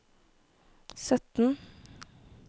sytten